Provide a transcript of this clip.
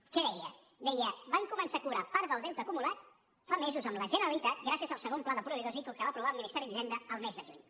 què deia deia van començar a cobrar part del deute acumulat fa mesos amb la generalitat gràcies al segon pla de proveïdors ico que va aprovar el ministeri d’hisenda el mes de juny